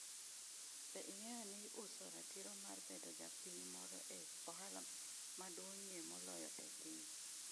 Be ing’eyo ni uso ratiro mar bedo ja piny moro en ohala maduong’ie moloyo e piny?